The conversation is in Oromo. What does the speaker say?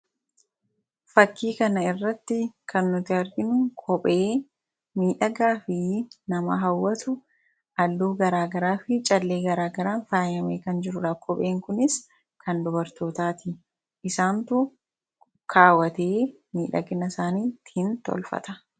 Fakii kana irratti kan nuti arginu kophee miidhagaa fi nama hawwatu halluu garaagaraa fi callee garaagaraan faayame kan jirudha. Kopheen kunis kan dubartootaati isaantu kaawwatee miidhagina isaanii ittiin tolfata.